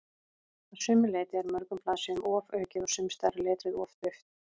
Að sumu leyti er mörgum blaðsíðum ofaukið og sumsstaðar er letrið of dauft.